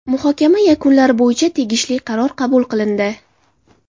Muhokama yakunlari bo‘yicha tegishli qaror qabul qilindi.